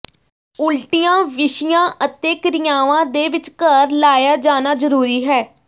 ਉਲਟੀਆਂ ਵਿਸ਼ਿਆਂ ਅਤੇ ਕਿਰਿਆਵਾਂ ਦੇ ਵਿਚਕਾਰ ਲਾਇਆ ਜਾਣਾ ਜ਼ਰੂਰੀ ਹੈ